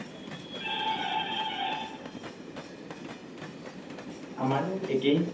আমাৰো একেই।